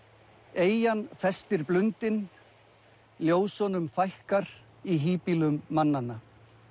eyjan festir blundinn ljósunum fækkar í híbýlum mannanna